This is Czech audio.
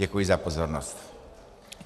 Děkuji za pozornost.